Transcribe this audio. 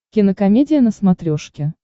кинокомедия на смотрешке